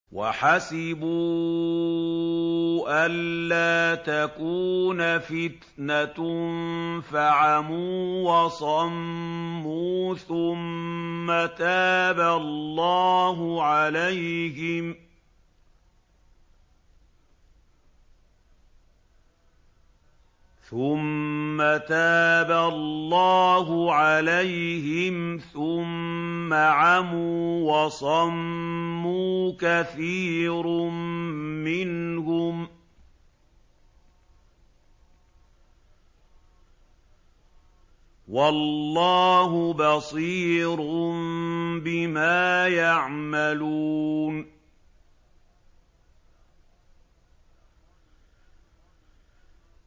وَحَسِبُوا أَلَّا تَكُونَ فِتْنَةٌ فَعَمُوا وَصَمُّوا ثُمَّ تَابَ اللَّهُ عَلَيْهِمْ ثُمَّ عَمُوا وَصَمُّوا كَثِيرٌ مِّنْهُمْ ۚ وَاللَّهُ بَصِيرٌ بِمَا يَعْمَلُونَ